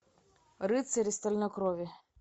рыцари стальной крови